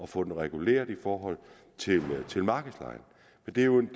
få den reguleret i forhold til markedslejen det er jo en